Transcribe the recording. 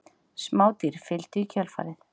smádýr fylgdu í kjölfarið